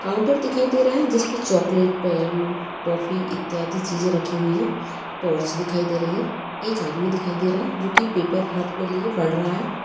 Counter दिखाई दे रहा है जिसपे चॉकलेट पेन टॉफी इत्यादि चीज़ें रखी हुई हैं। टॉर्च दिखाई दे रही है एक आदमी दिखाई दे रहा है जो के पेपर हाथ में लिए पढ़ रहा है।